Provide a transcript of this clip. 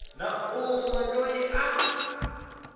na un we loyi a